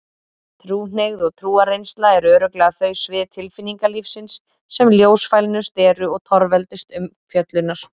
Trúhneigð og trúarreynsla eru örugglega þau svið tilfinningalífsins sem ljósfælnust eru og torveldust umfjöllunar.